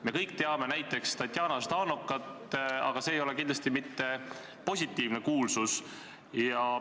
Me kõik teame näiteks Tatjana Ždanokat, aga see ei ole kindlasti mitte positiivne kuulsus.